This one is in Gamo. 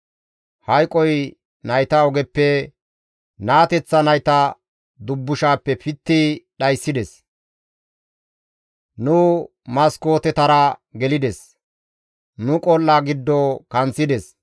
Hayqoy nayta ogeppe, naateththa nayta dubbushappe pitti dhayssides; nu maskootetara gelides; nu qol7a giddo kanththides.